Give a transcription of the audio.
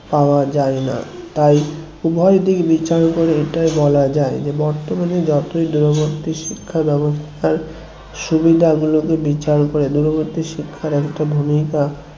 পাওয়া যায় না তাই উভয় দিক বিচার করে এটাই বলা যাই যে বর্তমানে যতই দূরবর্তী শিক্ষা ব্যবস্থার সুবিধাগুলোকে বিচার করে দূরবর্তী শিক্ষার একটা ভূমিকা